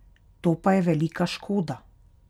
To pa je velika škoda.